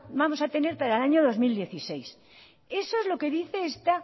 vamos a tener para el año dos mil dieciséis eso es lo que dice esta